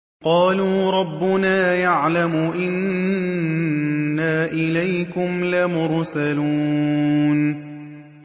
قَالُوا رَبُّنَا يَعْلَمُ إِنَّا إِلَيْكُمْ لَمُرْسَلُونَ